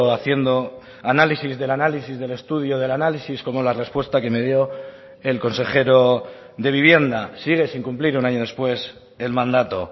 haciendo análisis del análisis del estudio del análisis como la respuesta que me dio el consejero de vivienda sigue sin cumplir un año después el mandato